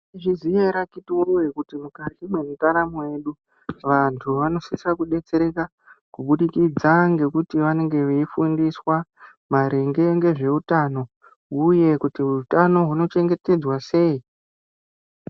Mwaizviya ere akhiti woye kuti mukati mwendaramo yedu vantu vanosise kudetsereka kubudikidza ngekuti vanenge veifundiswa maringe ngezveutano uye kuti utano hunochengetedzwa sei.